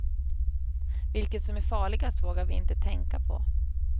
Vilket som är farligast vågar vi inte tänka på.